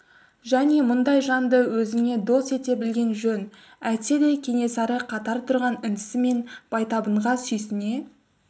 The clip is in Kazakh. және мұндай жанды өзіңе дос ете білген жөн әйтседе кенесары қатар тұрған інісі мен байтабынға сүйсіне